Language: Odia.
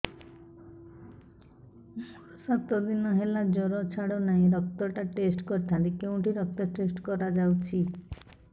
ମୋରୋ ସାତ ଦିନ ହେଲା ଜ୍ଵର ଛାଡୁନାହିଁ ରକ୍ତ ଟା ଟେଷ୍ଟ କରିଥାନ୍ତି କେଉଁଠି ରକ୍ତ ଟେଷ୍ଟ କରା ଯାଉଛି